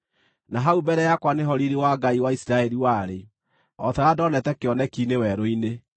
Na hau mbere yakwa nĩho riiri wa Ngai wa Isiraeli warĩ, o ta ũrĩa ndoonete kĩoneki-inĩ werũ-inĩ.